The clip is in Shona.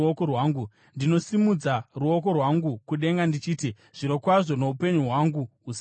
Ndinosimudza ruoko rwangu kudenga ndichiti: Zvirokwazvo, noupenyu hwangu husingaperi,